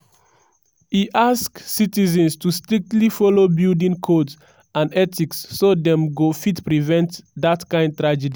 e ask citizens to strictly follow building codes and ethics so dem go fit prevent dat kind tragedy.